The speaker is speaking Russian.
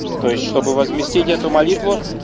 то есть чтобы возместить эту молитву